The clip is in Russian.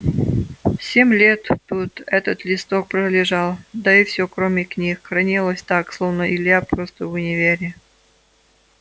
семь лет тут этот листок пролежал да и все кроме книг хранилось так словно илья просто в универе